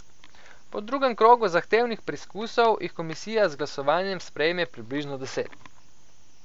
Po drugem krogu zahtevnih preizkusov jih komisija z glasovanjem sprejme približno deset.